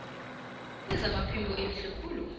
lezamaphilo elihle khulu